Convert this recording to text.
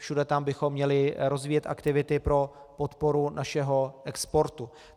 Všude tam bychom měli rozvíjet aktivity pro podporu našeho exportu.